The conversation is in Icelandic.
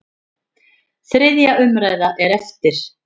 Þriðja umræða er eftir.